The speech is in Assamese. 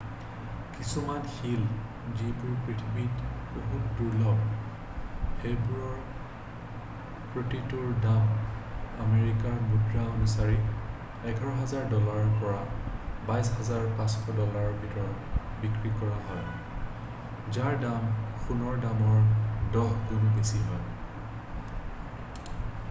কিছুমান শিল যিবোৰ পৃথিৱীত বহুত দুৰ্লভ সেইবোৰৰ প্ৰতিটোৰ দাম আমেৰিকাৰ মুদ্ৰা অনুসৰি 11,000 ডলাৰৰ পৰা 22,500 ডলাৰৰ ভিতৰত বিক্ৰী কৰা হয় যাৰ দাম সোণৰ দামৰ দহ গুণ বেছি হয়